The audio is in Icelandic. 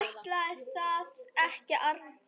Ætli það ekki annars.